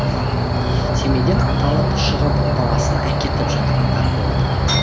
семейден аталып шығып баласын әкетіп жатқандар болды